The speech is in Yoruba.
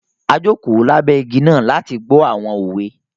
A jòko lábẹ́ igi náà láti gbọ àwọn òwe